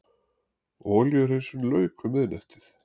Olíuhreinsun lauk um miðnættið